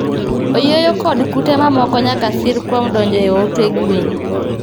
Oyieyo kod kute mamoko nyaka sir kuom donjo e ote gwen.